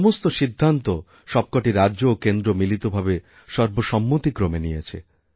সমস্ত সিদ্ধান্ত সবকটিরাজ্য ও কেন্দ্র মিলিতভাবে সর্বসম্মতিক্রমে নিয়েছে